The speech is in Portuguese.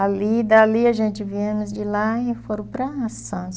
Ali, dali a gente viemos de lá e foram para Santos.